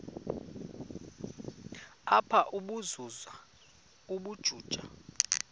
apha ukuzuza ubujuju